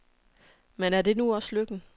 Men er det nu også lykken?